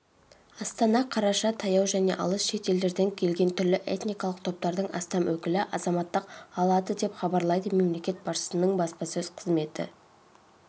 астана қараша таяу және алыс шет елдерден келген түрлі этникалық топтардың астам өкілі азаматтық алады деп хабарлайды мемлекет басшысының баспасөз қызметі